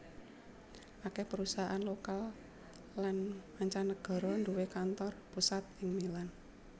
Akèh perusahaan lokal lan mancanagara nduwé kantor pusat ing Milan